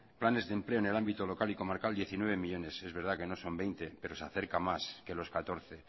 planes de empleo en el ámbito local y comarcal diecinueve millónes es verdad que no son veinte pero se acerca más que los catorce